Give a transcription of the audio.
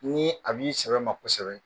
Ni a b'i sɛbɛma kosɛbɛ